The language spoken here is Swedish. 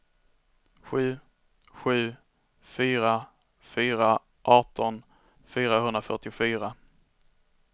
sju sju fyra fyra arton fyrahundrafyrtiofyra